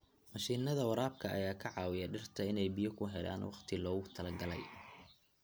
Mashiinnada waraabka ayaa ka caawiya dhirta inay biyo ku helaan waqtigii loogu talagalay.